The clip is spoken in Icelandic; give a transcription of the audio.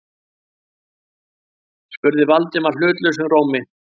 spurði Valdimar hlutlausum rómi.